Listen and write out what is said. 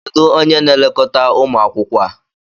Kedu onye na-elekọta ụmụ akwụkwọ a?